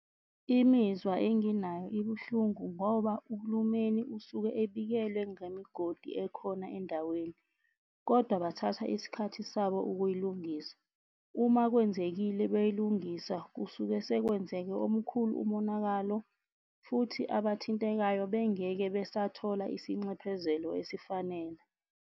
Imizwa enginayo ibuhlungu ngoba uhulumeni usuke ebikelwe ngemigodi ekhona endaweni kodwa kwathatha iskhathi sabo ukuyilungisa. Uma kwenzekile beyilungisa kusuke sekwenzeke omkhulu umonakalo, futhi abathintekayo bengeke besathola isinxephezelo esifanele.